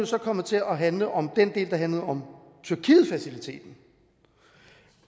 så kommet til at handle om den del der handlede om tyrkietfaciliteten